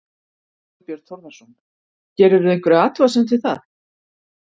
Þorbjörn Þórðarson: Gerirðu einhverja athugasemd við það?